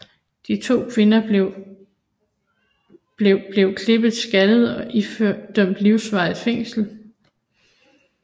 De to kvinder blev blev klippet skaldet og idømt livsvarigt fængsel